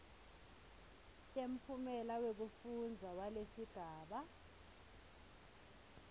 temphumela wekufundza walesigaba